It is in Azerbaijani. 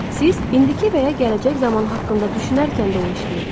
Siz indiki və ya gələcək zaman haqqında düşünərkən də o işləyir.